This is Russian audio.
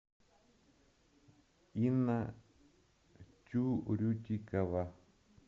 инна тюрютикова